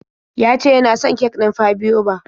Ya ce ya na son kek ɗin fabloba.